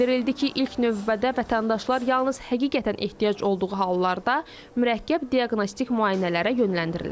Bildirildi ki, ilk növbədə vətəndaşlar yalnız həqiqətən ehtiyac olduğu hallarda mürəkkəb diaqnostik müayinələrə yönləndiriləcək.